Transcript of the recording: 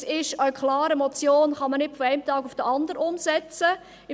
Es ist klar, dass man eine Motion nicht von einem Tag auf den anderen umsetzen kann.